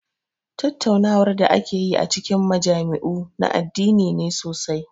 Tattaunawar da ake yi a cikin majami'u na addini ne sosai.